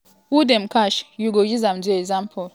who dem catch you go use am do example.